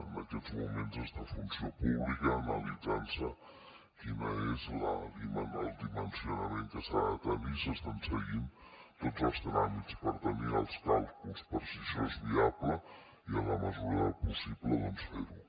en aquests moments està a funció pública analitzant se quin és el dimensionament que ha de tenir s’estan seguint tots els tràmits per tenir els càlculs per si això és viable i en la mesura del possible doncs fer ho